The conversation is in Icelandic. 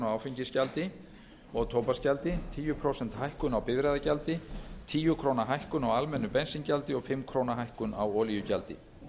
áfengisgjaldi og tóbaksgjaldi tíu prósenta hækkun á bifreiðagjaldi tíu króna hækkun á almennu bensíngjaldi og fimm króna hækkun á olíugjaldi